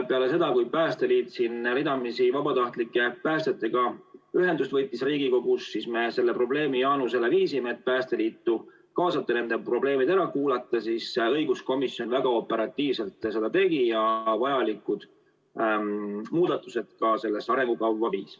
Peale seda, kui Päästeliit võttis ridamisi ühendust vabatahtlike päästjatega siin Riigikogus, me sellest probleemist Jaanusele rääkisime, et tuleks Päästeliitu kaasata ja nende probleemid ära kuulata, ning siis õiguskomisjon väga operatiivselt seda tegi ja vajalikud muudatused ka sellesse arengukavva viis.